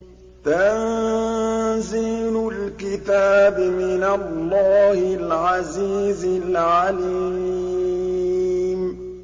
تَنزِيلُ الْكِتَابِ مِنَ اللَّهِ الْعَزِيزِ الْعَلِيمِ